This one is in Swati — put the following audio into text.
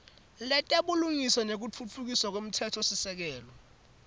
letebulungiswa nekutfutfukiswa kwemtsetfosisekelo